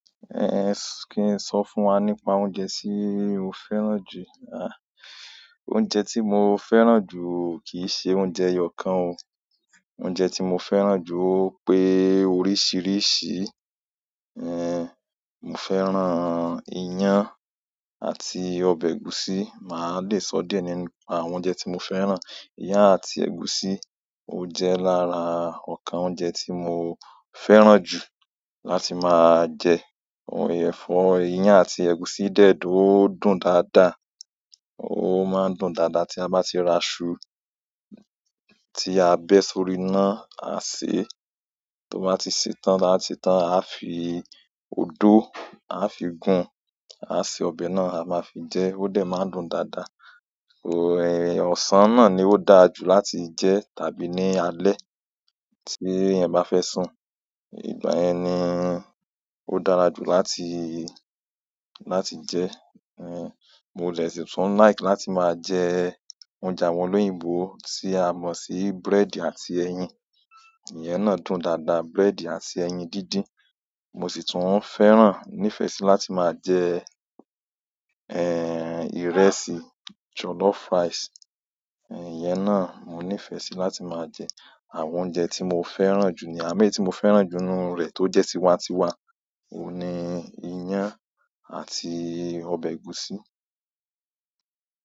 Ehn, kí n sọ fún wa nípa oúnjẹ tí mo fẹ́ràn jù? Àh, oúnjẹ tí mo fẹ́ràn jù kì í ṣe oúnjẹ eyọ kan o. Oúnjẹ tí mo fẹ́ràn jù ó pé oríṣìrísì. Ehn, mo fẹ́ràn ìyán àti ọbẹ̀ ẹ̀gúsí. Màá dè sọ díẹ̀ nípa àwọn oúnjẹ tí mo fẹ́ràn. Ìyán àti ẹ̀gúsí, ó jẹ́ lára ọkàn oúnjẹ tí mo fẹ́ràn jù láti máa jẹ. Ọbẹ̀ èfò ìyán àti ẹ̀gúsí dẹ̀ dùn, ó dùn dáadáa. Ó máa ń dùn dáadáa tí a bá ti ra iṣu tí a bẹ́ sórí iná, à ṣe, tó bá ti ṣetan taba ti sei tán, a fi odó, a fi ìgún, a ṣe ọbẹ̀ náà, a máa fi jẹ, ó dẹ̀ máa ń dùn dáadáa. Ehn, ọ̀sán náà ni ó dáa jù láti jẹ tàbí ní alẹ́ tí ẹ̀yin bá fẹ́ sùn. Ìgbà ẹni ń, ó dára jù láti, láti jẹ. Ehn, mo lè sì tún like láti máa jẹ oúnjẹ àwọn olóyìnbó tí a mọ̀ sí búrẹ́dì àti ẹyin. Ìyẹ́ náà dùn dáadáa, búrẹ́dì àti ẹyin dídín. Mo sì tún fẹ́ràn, nífẹ̀ẹ́ sí láti máa jẹ, eh, ìrẹsì, jollof rice. Ìyẹ́ náà mo nífẹ̀ẹ́ sí láti máa jẹ. Àwọn oúnjẹ tí mo fẹ́ràn jù ni, àmo èyí ticmo fẹ́ràn jù nínú rẹ̀ tó jẹ́ tiwa-n-tiwa òun ni ìyán àti ọbẹ̀ ẹ̀gúsí.